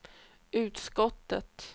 utskottet